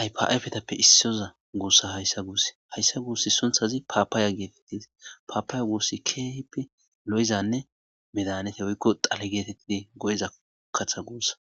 aypafetappe issiyoza guussa hayssa guussi hayssa guussi sunthazi paapaaya geetettizi paapaya guussi keehipi lo7izanne medanete woykko xale geetettidi go7iza katha guussa